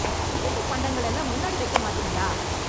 இனிப்புப் பண்டங்கள் எல்லாம் முன்னாடி வைக்கமாட்டீங்களா